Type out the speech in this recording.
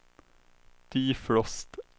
defrost